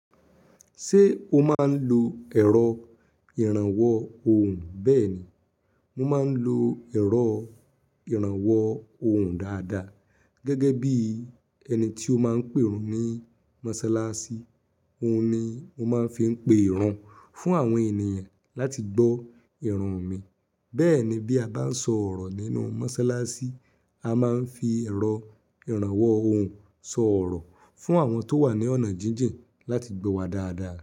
Ṣé o máa ń lo ẹ̀rọ ìrànwọ́ ohùn? Bẹ́ẹ̀ ni, mo máa ń lo ẹ̀rọ ìrànwọ́ ohùn dáadáa gẹ́gẹ́ bí ẹni tí ó máa ń pè rùn ní mọ́sálásí. Òun ni mo máa ń fi ń pe ìrun fún àwọn ènìyàn láti gbọ́ ìrun mi. Bẹ́ẹ̀ ni bí a bá ń sọ ọ̀rọ̀ nínú mọ́sálásí, a máa ń fi ẹ̀rọ ìrànwọ́ ohùn sọ ọ̀rọ̀ fún àwọn tó wà ní ọ̀nà jíjìn láti gbọ́ wa dáadáa.